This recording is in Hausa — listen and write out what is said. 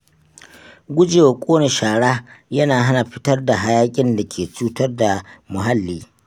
Gujewa ƙone shara yana hana fitar hayaƙin da ke cutar da muhalli.